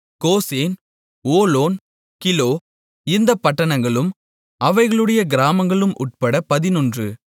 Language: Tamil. கோசேன் ஓலோன் கிலோ இந்தப் பட்டணங்களும் அவைகளுடைய கிராமங்களும் உட்பட பதினொன்று